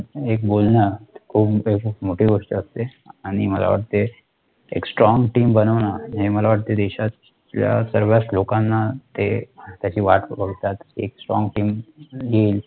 बोलणं खूप एक मोठी गोष्ट असते एक Strong team बनवणं, हे मला वाटते देशातल्या सर्वच लोकांना त्याची वाट बघावी लागते